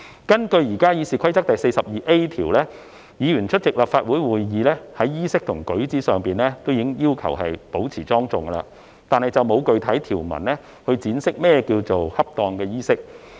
根據現時《議事規則》第 42a 條，議員出席立法會會議在衣飾及舉止上已要求保持莊重，但沒有具體條文闡釋甚麼是恰當衣飾。